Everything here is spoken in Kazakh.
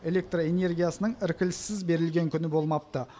электр энергиясының іркіліссіз берілген күні болмапты